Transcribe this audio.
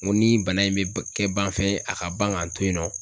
N ko ni bana in be kɛ ban fɛn ye, a ka ban ka n to yen nɔ